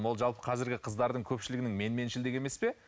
бұл жалпы қазіргі қыздардың көпшілігінің менменшілдігі емес пе